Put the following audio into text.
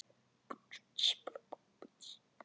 Við erum heppin með hópinn.